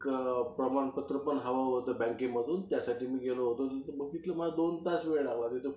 एक प्रमाणपत्र पण हवं होतं बँकेकडून, त्यासाठी मी गेलो होतो, तिथं मला दोन तास वेळ लागला